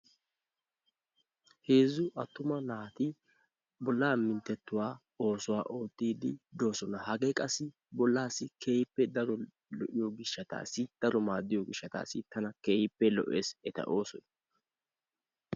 Heezzu attuma naati bollaa minttetuwaa oosuwaa ootide doosona. Hagee qassi bollassi keehippe daro lo"iyo gishshatassi daro maaddiyo gishshatassi tana keehippe lo"essi eta oossoy.